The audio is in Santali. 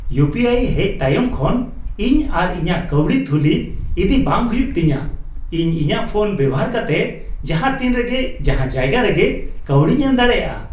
ᱤᱭᱩᱯᱤᱟᱭ ᱦᱮᱡ ᱛᱟᱭᱚᱢ ᱠᱷᱚᱱ ᱤᱧ ᱟᱨ ᱤᱧᱟᱹᱜ ᱠᱟᱹᱣᱰᱤ ᱛᱷᱩᱞᱤ ᱤᱫᱤ ᱵᱟᱝ ᱦᱩᱭᱩᱜ ᱛᱤᱧᱟ ᱾ ᱤᱧ ᱤᱧᱟᱜ ᱯᱷᱳᱱ ᱵᱮᱵᱚᱦᱟᱨ ᱠᱟᱛᱮᱫ ᱡᱟᱦᱟᱛᱤᱱ ᱨᱮᱜᱮ ᱡᱟᱦᱟ ᱡᱟᱭᱜᱟ ᱨᱮᱜᱮ ᱠᱟᱹᱣᱰᱤᱧ ᱮᱢ ᱫᱟᱲᱮᱭᱟᱜᱼᱟ ᱾